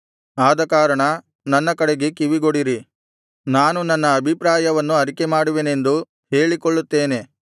ಆದಕಾರಣ ನನ್ನ ಕಡೆಗೆ ಕಿವಿಗೊಡಿರಿ ನಾನು ನನ್ನ ಅಭಿಪ್ರಾಯವನ್ನು ಅರಿಕೆಮಾಡುವೆನೆಂದು ಹೇಳಿಕೊಳ್ಳುತ್ತೇನೆ